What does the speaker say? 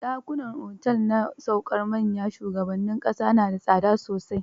Ɗakunan otel na saukar manyan shugabannin ƙasa na da tsada sosai.